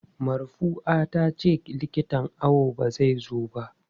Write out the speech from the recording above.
Marfua tace likitan awon ba zai zo ba.